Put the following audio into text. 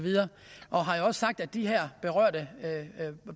har sagt at de her berørte